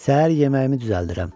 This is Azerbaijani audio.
Səhər yeməyimi düzəldirəm.